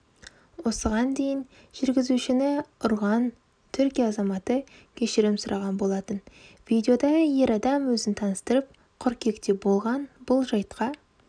осыған дейінжүргізушіні ұрғантүркия азаматы кешірім сұраған болатын видеода ер адам өзін таныстырып қыркүйекте болған бұл жайтқа